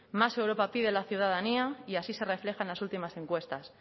más europa pide la ciudadanía y así se refleja en las últimas encuestas